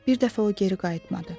Bir dəfə o geri qayıtmadı.